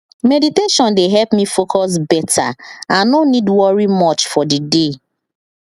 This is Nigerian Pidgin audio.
meditation dey help me focus beta and no need worry much for the day